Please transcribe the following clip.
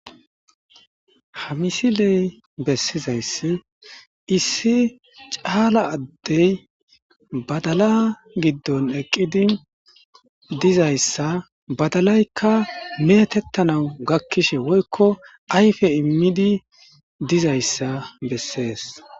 Ha misiley bessizayssi issi caala addey badala giddon eqqidi dizayssa badalaykka metettanawu gakkishe woykko ayfe immidi dizayssa bessees.